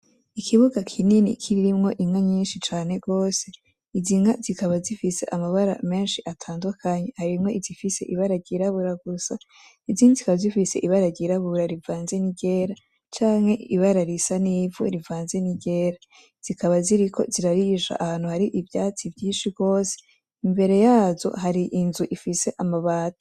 Ikibuga kinini kirimwo inka nyinshi cane gose , izi nka zikaba zifise amabara menshi atandukanye , harimwo izifise ibara ryirabura gusa , izindi zikaba zifise ibara ryirabura bivanze n’iryera canke ibara risa n’ivu rivanze n’iryera. Zikaba ziriko zirarisha ahantu hari ivyatsi vyinshi gose imbere yazo hari inzu ifise amabati.